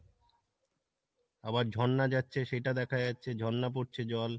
আবার ঝর্ণা যাচ্ছে সেটা দেখা যাচ্ছে ঝর্ণা পড়ছে জল